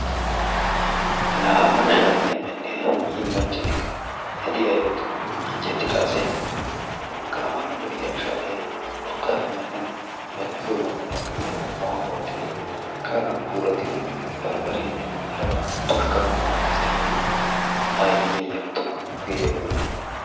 La hagaa shaatiya medhdhiya hiillanchchati eti ayba tuma anjjetida ase? Hagaa mala lo'iya shaatiyaa urqqape medhdhidoga munaqqidi awaani wottidi kadan puulaatidi baribaariya ne haraba tkanawu maadees. Aayiya yelu tuma hage ayba lo'i?